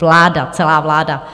Vláda, celá vláda.